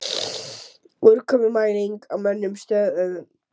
Úrkomumæling á mönnuðum stöðvum